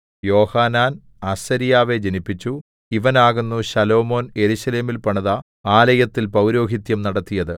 യോഹാനാൻ അസര്യാവെ ജനിപ്പിച്ചു ഇവനാകുന്നു ശലോമോൻ യെരൂശലേമിൽ പണിത ആലയത്തിൽ പൗരോഹിത്യം നടത്തിയത്